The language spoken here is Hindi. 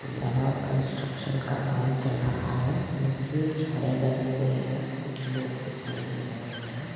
यह कंस्ट्रक्शन का काम चल रहा है नीचे छड़े बंधी हुई है कुछ लोग दिखाई दे रहे है।